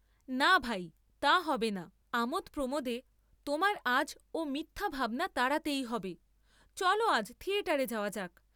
না, ভাই, তা হবে না আমোদ প্রমোদে তোমার আজ ও মিথ্যা ভাবনা তাড়াতেই হবে, চল আজ থিয়েটারে যাওয়া যাক।